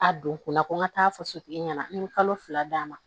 A don kun na ko n ka taa fɔ sotigi ɲɛna ni kalo fila d'a ma